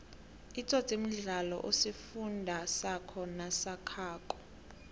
itsotsi mdlalo osifundi sako nosakhako